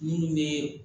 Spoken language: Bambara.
Minnu bɛ